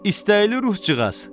İstəyili ruhcuğaz!